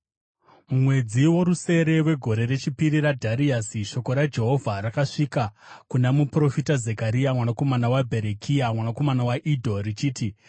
“Mumwedzi worusere wegore rechipiri raDhariasi, shoko raJehovha rakasvika kuna muprofita Zekaria mwanakomana waBherekia, mwanakomana waIdho richiti: